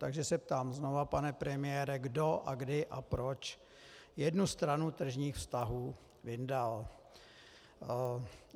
Takže se ptám znovu, pane premiére, kdo a kdy a proč jednu stranu tržních vztahů vyndal.